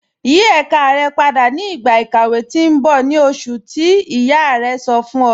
Yí èká rẹ̀ pádà ni igba ikàwé tì n bọ̀, ni oṣùn tí iyá rẹ̀ sọ̀ fún ọ̀.